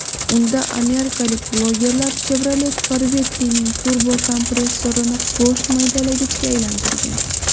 Unda amerikalik blogerlar Chevrolet Corvette’ning turbokompressorini go‘sht maydalagichga aylantirgan.